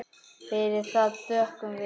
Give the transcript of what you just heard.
Fyrir það þökkum við.